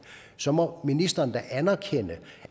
så må ministeren da anerkende